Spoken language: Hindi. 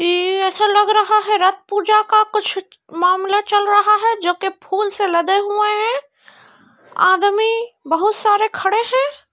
यह ऐसा लग रहा है रथ पूजा का कुछ मामला चल रहा है जो की फूल से लदे हुए हैं| आदमी बहुत सारे खड़े हैं।